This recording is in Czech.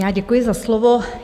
Já děkuji za slovo.